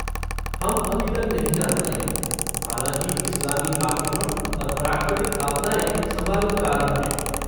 हम अभी तक नहीं जानते हैं, हालाँकि इस्लामी आक्रमण और प्राकृतिक आपदाएँ संभावित कारण हैं।